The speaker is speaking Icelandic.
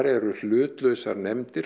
eru hlutlausar lyfjanefndir